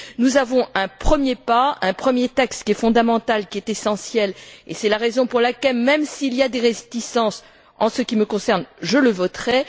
Nous avons un premier pas, un premier texte qui est fondamental, qui est essentiel, et c'est la raison pour laquelle, même s'il y a des réticences, en ce qui me concerne je le voterai.